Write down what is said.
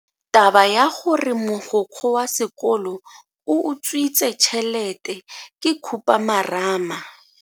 Taba ya gore mogokgo wa sekolo o utswitse tšhelete ke khupamarama.